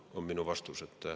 See on minu vastus.